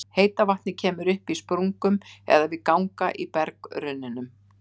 Heita vatnið kemur upp í sprungum eða við ganga í berggrunninum.